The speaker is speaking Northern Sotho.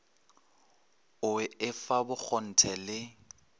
o i fa bokgonthe le